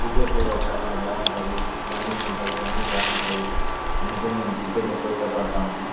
క్రికెట్లో చాలా బాగుంటది రన్నింగ్ ఉంటది అన్ని బాగుంటాయి అందుకనే మేము ఎక్కువ క్రికెట్ ని ఎక్కువ ఇష్టపడతాము.